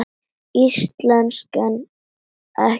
Íslensk en ekki dönsk.